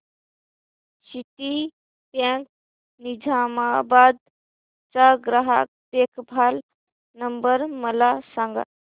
Citibank Nizamabad चा ग्राहक देखभाल नंबर मला सांगा